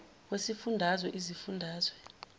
wesifun dazwe izifundazwe